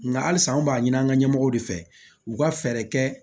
Nka hali san anw b'a ɲini an ka ɲɛmɔgɔw de fɛ u ka fɛɛrɛ kɛ